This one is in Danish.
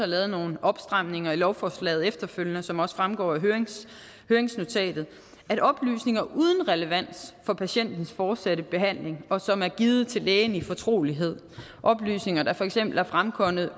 lavet nogle opstramninger i lovforslaget efterfølgende som også fremgår af høringsnotatet at oplysninger uden relevans for patientens fortsatte behandling og som er givet til lægen i fortrolighed oplysninger der for eksempel er fremkommet